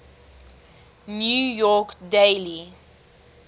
new york daily